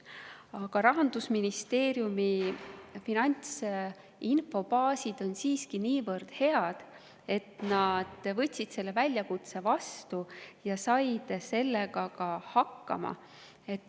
Aga Rahandusministeeriumi finantsinfobaasid on siiski niivõrd head, et ministeerium võttis selle väljakutse vastu ja sai sellega ka hakkama.